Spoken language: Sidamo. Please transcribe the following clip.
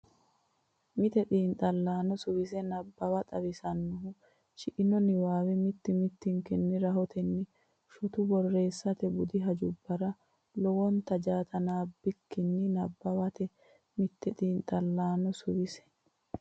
Mite xiinxallaano suwise nabbawa xawissannohu shiqqino niwaawe mitii minikkinni rahotenninna shotu borreessate budi hajubbara lowota jaatanaanbikkinni nabbawate Mite xiinxallaano suwise.